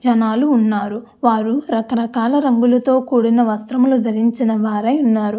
జనాలు ఉన్నారు వారు రక రకాల రంగులతో కూడిన వస్త్రములు ధరించిన వారై ఉన్నారు.